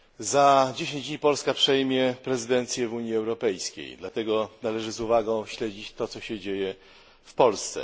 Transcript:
Za 10 dni Polska przejmie prezydencję w Unii Europejskiej, dlatego należy z uwagą śledzić to, co się dzieje w Polsce.